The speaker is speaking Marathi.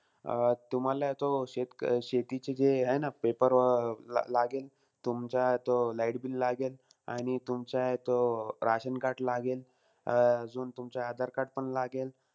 अं तुम्हाला तो शेत शेतीचे जे हे ना paper अं लागेल. तुमचा तो light bill लागेल, आणि तुमचा तो ration card लागेल. अं अजून तुमचा Aadhar card पण लागेल.